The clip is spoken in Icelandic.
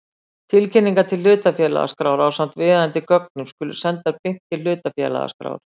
Tilkynningar til hlutafélagaskrár ásamt viðeigandi gögnum skulu sendar beint til hlutafélagaskrár.